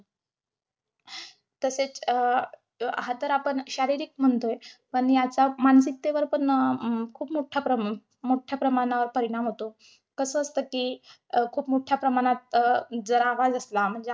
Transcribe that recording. तसेच अं हा तर आपण शारीरिक म्हणतोय. पण याचा मानसिकतेवर पण अं खूप मोठ्या प्रमाणा~ अं मोठ्या प्रमाणावर परिणाम होतो. कसं असत कि, अं खूप मोठ्या प्रमाणात अं जर आवाज असला म्हणजे आपला.